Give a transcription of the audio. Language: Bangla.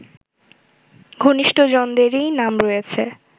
ঘনিষ্ঠজনদেরই নাম রয়েছে